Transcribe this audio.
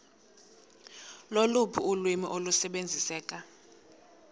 loluphi ulwimi olusebenziseka